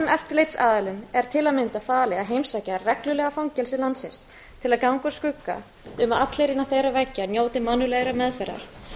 eftirlitsaðilum er til að mynda falið að heimsækja reglulega fangelsi landsins til að ganga úr skugga um að allir innan þeirra veggja njóti mannúðlegrar meðferðar